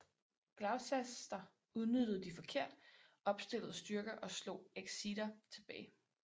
Gloucester udnyttede de forkert opstillede styrker og slog Exeter tilbage